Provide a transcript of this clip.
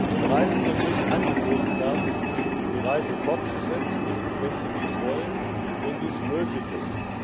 Den Reisenden muss angeboten werden, die Reise fortzusetzen, wenn sie dies wollen, und wenn dies möglich ist.